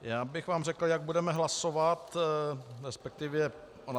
Já bych vám řekl, jak budeme hlasovat, respektive -